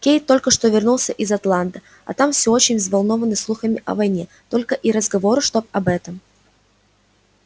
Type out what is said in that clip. кэйд только что вернулся из атланты а там всё очень взволнованы слухами о войне только и разговору что об этом